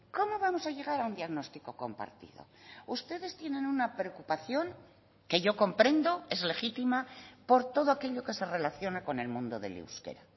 cómo vamos a llegar a un diagnóstico compartido ustedes tienen una preocupación que yo comprendo es legítima por todo aquello que se relaciona con el mundo del euskera